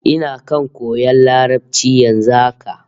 Ina kan koyan Larabci yanzu haka